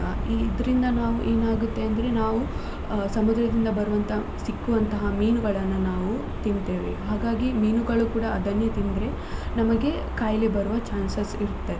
ಇದ್ರಿಂದ ನಾವು ಏನಾಗುತ್ತೆ ಅಂದ್ರೆ ನಾವು ಸಮುದ್ರದಿಂದ ಬರುವಂತ ಸಿಕ್ಕುವಂತ ಮೀನುಗಳನ್ನ ನಾವು ತಿಂತ್ತೇವೆ ಹಾಗಾಗಿ ಮೀನುಗಳು ಕೂಡ ಅದನ್ನೇ ತಿಂದ್ರೆ ನಮಗೆ ಖಾಯಿಲೆ ಬರುವ chances ಇರುತ್ತದೆ.